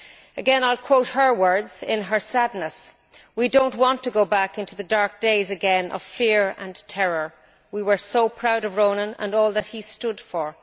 Again I will quote her words in her sadness We do not want to go back into the dark days again of fear and terror. We were so proud of Ronan and all that he stood for.